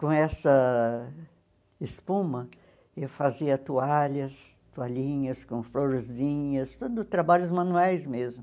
Com essa espuma, eu fazia toalhas, toalhinhas com florzinhas, tudo trabalhos manuais mesmo.